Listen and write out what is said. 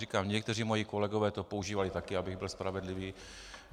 Říkám, někteří moji kolegové to používali také, abych byl spravedlivý.